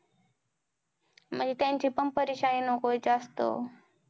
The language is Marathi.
म्हणजे त्याचं पण परिक्षानी नको आहे जास्त